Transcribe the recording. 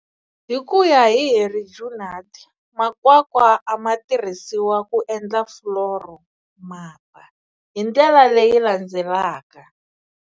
Hikuya hi Henri Junod, makwakwa ama tirhisiwa ku endla floro mapa, hindlela leyi landzelaka.